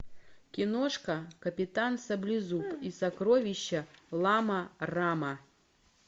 киношка капитан саблезуб и сокровища лама рама